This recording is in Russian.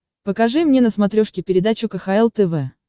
покажи мне на смотрешке передачу кхл тв